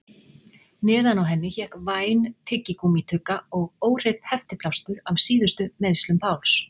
Neðan á henni hékk væn tyggigúmmítugga og óhreinn heftiplástur af síðustu meiðslum Páls.